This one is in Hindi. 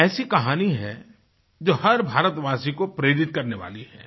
एक ऐसी कहानी है जो हर भारतवासी को प्रेरित करने वाली है